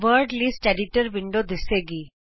word list editor window ਦਿੱਸੇਗੀ